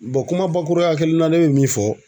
kuma bakuruya kelen na ne bɛ min fɔ